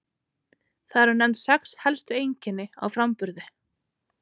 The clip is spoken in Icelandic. Þar eru nefnd sex helstu einkenni á framburði.